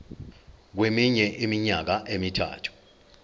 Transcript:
kweminye iminyaka emithathu